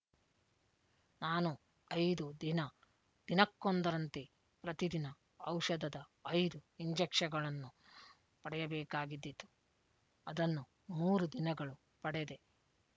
ನಾನು ಐದು ದಿನ ದಿನಕ್ಕೊಂದರಂತೆ ಪ್ರತಿದಿನ ಔಷಧದ ಐದು ಇಂಜೆಕ್ಷನ್‍ಗಳನ್ನು ಪಡೆಯಬೇಕಾಗಿದ್ದಿತು ಅದನ್ನು ಮೂರು ದಿನಗಳು ಪಡೆದೆ